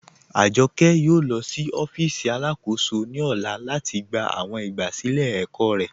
Ajọkẹ yóò lọ sí ọfíìsì alákóṣò ní ọlá lati gbà awọn igbásílẹ̀ ẹ̀kọ̀ rẹ.